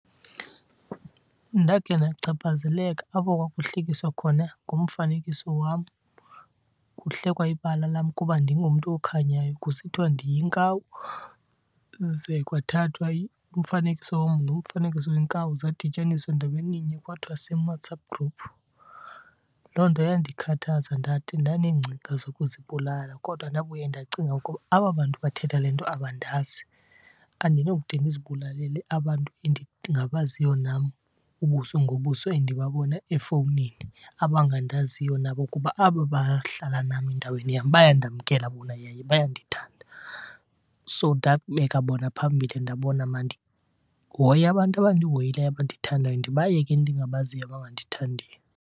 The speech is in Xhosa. Ndakhe ndachaphazeleka apho kwakuhlekiswa khona ngomfanekiso wam. Kuhlekwa ibala lam kuba ndingumntu okhanyayo kusithiwa ndiyinkawu, ze kwathathwa umfanekiso wam nomfanekiso wenkawu zadityaniswa ndaweninye kwathiwa same WhatsApp group. Loo nto yandikhathaza ndade ndaneengcinga zokuzibulala kodwa ndabuye ndacinga ukuba aba bantu bathetha le nto abandazi. Andinokude ndizibulalele abantu endingabaziyo nam ubuso ngobuso endibabona efowunini, abangandaziyo nabo kuba aba bahlala nam endaweni yam bayandamkela bona yaye bayandithanda. So ndabeka bona phambili ndabona mandihoye abantu abandihoyileyo abandithandayo ndibayeke endingabaziyo abangandithandiyo.